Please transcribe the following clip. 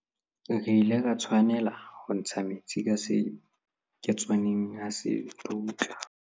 re ile ra tshwanela ho ntsha metsi ka seketswaneng ha se dutla